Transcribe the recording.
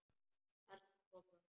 Þarna kom það!